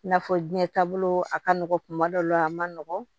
I n'a fɔ jiɲɛ taabolo a ka nɔgɔn kuma dɔ la a man nɔgɔn